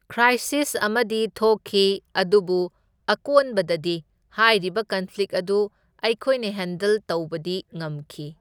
Crisis ꯑꯃꯗꯤ ꯊꯣꯛꯈꯤ, ꯑꯗꯨꯕꯨ ꯑꯀꯣꯟꯕꯗꯗꯤ ꯍꯥꯏꯔꯤꯕ ꯀꯟꯐ꯭ꯂꯤꯛ ꯑꯗꯨ ꯑꯩꯈꯣꯏꯅ ꯍꯦꯟꯗꯜ ꯇꯧꯕꯗꯤ ꯉꯝꯈꯤ꯫